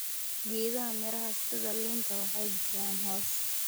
Geedaha miraha sida liinta waxay bixiyaan hoos.